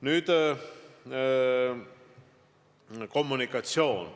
Nüüd, kommunikatsioon.